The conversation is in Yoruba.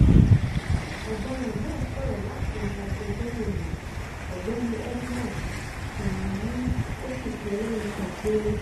ọ̀daràn náà sọ̀rọ̀ láti ẹnu agbẹjọ́rò rẹ̀ ọ̀gbẹ́ni edmond sunminmu ó sì pe ẹlẹ́rìí kan péré